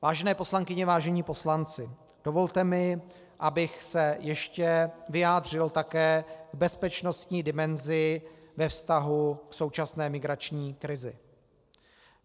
Vážené poslankyně, vážení poslanci, dovolte mi, abych se ještě vyjádřil také k bezpečnostní dimenzi ve vztahu k současné migrační krizi.